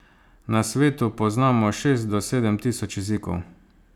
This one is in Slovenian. Na svetu poznamo šest do sedem tisoč jezikov.